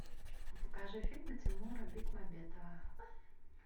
покажи фильмы тимура бекмамбетова